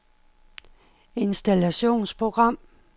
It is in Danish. installationsprogram